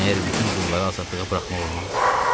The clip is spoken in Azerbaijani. Məgər bütün qulları azadlığa buraxmaq olmaz?